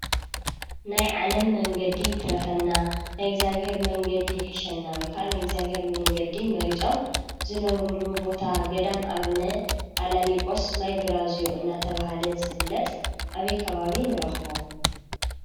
ናይ ዓለም መንገዲ ይትረፈና ናይ እግዚአብሔር መንገዲ ይሕሸና ወይክዓ ናይ እግዚአብሔር መንገዲ መሪፅኦም ዝነብሩሉ ቦታ ገዳም ኣቡነ ኣናሊቆስ ማይ ብራዝዮ እናተብሃለ ዝፍለጥ ኣበይ ከባቢ ንረኽቦ?